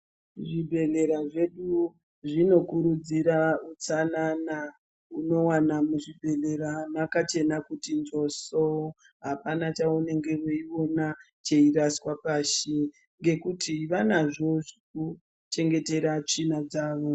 Zvibhedhlera zvedu zvinokurudzira utsanana. Unowana muzvibhedhlera mwakachena kuti njoso apana chaunenge weiona cheiraswa pashi ngekuti vanazvo zvekuchengetera tsvina dzavo.